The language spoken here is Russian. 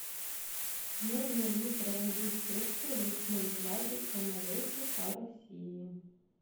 можно ли провозить фрукты в ручной клади в самолете по россии